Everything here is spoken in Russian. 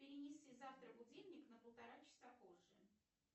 перенеси завтра будильник на полтора часа позже